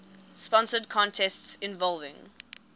sponsored contests involving